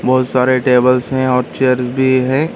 बहुत सारे टेबल्स है और चेयर्स भी है।